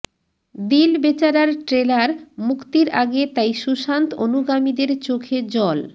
দিল বেচারার ট্রেলার মুক্তির আগে তাই সুশান্ত অনুগামীদের চোখে জল